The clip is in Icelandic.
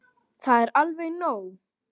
Það er alveg nóg.